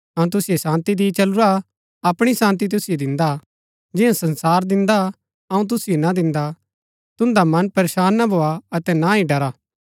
अऊँ तुसिओ शान्ती दि चलूरा अपणी शान्ती तुसिओ दिन्दा हा जियां संसार दिन्दा अऊँ तुसिओ ना दिन्दा तुन्दा मन परेशान ना भोआ अतै ना ही डरा